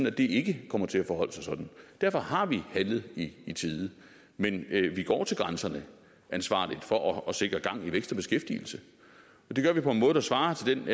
at det ikke kommer til at forholde sig sådan derfor har vi handlet i i tide men vi går til grænserne ansvarligt for at sikre gang i vækst og beskæftigelse og det gør vi på en måde der svarer til den